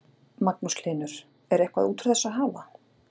Magnús Hlynur: Er eitthvað út úr þessu að hafa?